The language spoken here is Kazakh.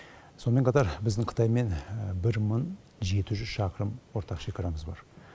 сонымен қатар біздің қытаймен бір мың жеті жүз шақырым ортақ шекарамыз бар